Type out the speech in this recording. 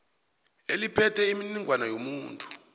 eliphethe imininingwana yomuntu